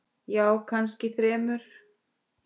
Já, kannski þremur.